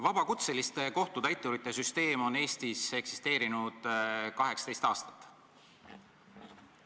Vabakutseliste kohtutäiturite süsteem on Eestis eksisteerinud 18 aastat.